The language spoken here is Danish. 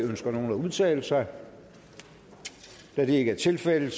ønsker nogen at udtale sig da det ikke er tilfældet